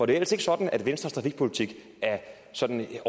det ellers ikke sådan at venstres trafikpolitik sådan i